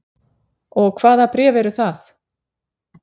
Og hvaða bréf eru það?